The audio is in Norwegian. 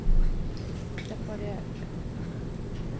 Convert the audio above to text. reparer